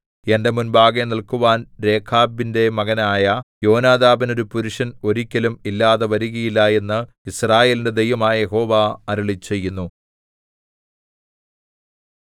എന്റെ മുമ്പാകെ നില്ക്കുവാൻ രേഖാബിന്റെ മകനായ യോനാദാബിന് ഒരു പുരുഷൻ ഒരിക്കലും ഇല്ലാതെ വരുകയില്ല എന്ന് യിസ്രായേലിന്റെ ദൈവമായ യഹോവ അരുളിച്ചെയ്യുന്നു